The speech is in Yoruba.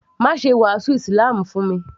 Má ṣe wàásù ísílámù fún mi